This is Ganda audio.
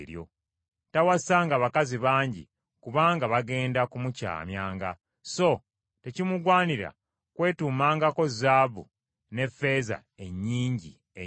Tawasanga bakazi bangi kubanga bagenda kumukyamyanga. So tekimugwanira kwetuumangako zaabu n’effeeza ennyingi ennyo.